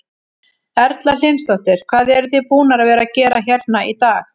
Erla Hlynsdóttir: Hvað eruð þið búnar að vera að gera hérna í dag?